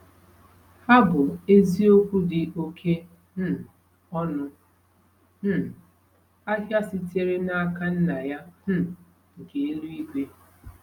Ha bụ eziokwu dị oké um ọnụ um ahịa sitere n’aka Nna ya um nke eluigwe!